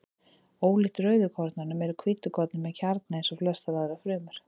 Ólíkt rauðkornunum eru hvítkornin með kjarna eins og flestar aðrar frumur.